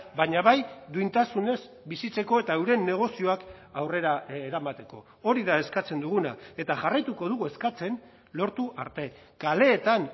baina bai duintasunez bizitzeko eta euren negozioak aurrera eramateko hori da eskatzen duguna eta jarraituko dugu eskatzen lortu arte kaleetan